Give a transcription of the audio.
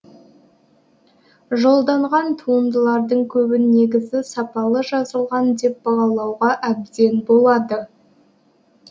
жолданған туындылардың көбін негізі сапалы жазылған деп бағалауға әбден болады